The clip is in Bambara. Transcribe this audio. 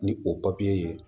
Ni o papiye ye